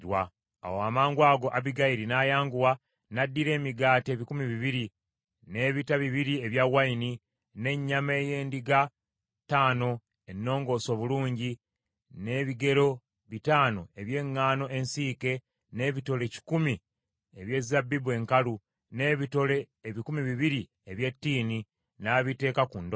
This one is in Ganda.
Awo amangwago Abbigayiri n’ayanguwa n’addira emigaati ebikumi bibiri, n’ebita bibiri ebya wayini, n’ennyama ey’endiga ttaano ennongoose obulungi, n’ebigero bitaano eby’eŋŋaano ensiike, n’ebitole kikumi eby’ezabbibu enkalu, n’ebitole ebikumi bibiri eby’ettiini, n’abiteeka ku ndogoyi.